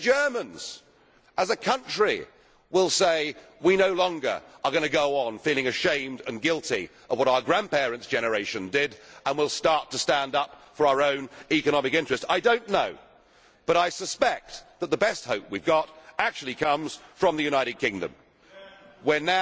Maybe the Germans as a country will say they are no longer going to go on feeling ashamed and guilty for what their grandparents' generation did and will start to stand up for their own economic interest. I do not know, but I suspect that the best hope we have actually comes from the United Kingdom, where